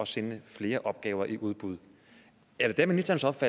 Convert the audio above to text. sende flere opgaver i udbud er det da ministerens